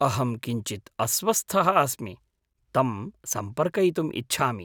अहं किञ्चित्‌ अस्वस्थः अस्मि, तं सम्पर्कयितुम् इच्छामि।